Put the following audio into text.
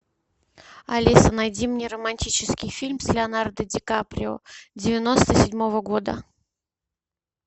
алиса найди мне романтический фильм с леонардо ди каприо девяносто седьмого года